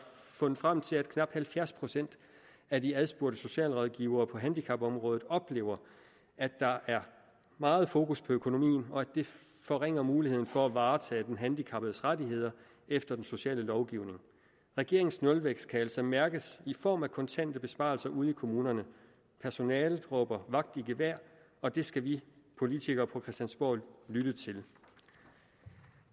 fundet frem til at knap halvfjerds procent af de adspurgte socialrådgivere på handicapområdet oplever at der er meget fokus på økonomien og at det forringer muligheden for at varetage den handicappedes rettigheder efter den sociale lovgivning regeringens nulvækst kan altså mærkes i form af kontante besparelser ude i kommunerne personalet råber vagt i gevær og det skal vi politikere på christiansborg lytte til